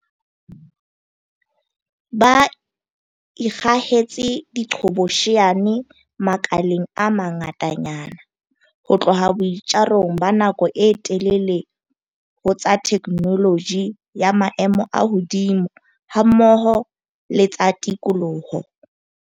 Ba ikgahetse diqhobosheane makaleng a mangatanyana, ho tloha boitjarong ba nako e telele ho tsa theknoloji ya maemo a hodimo hammoho le tsa tikoloho.